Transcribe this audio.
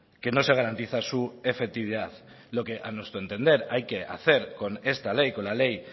que no se garantiza su efectividad lo que a nuestro entender hay que hacer con esta ley con la ley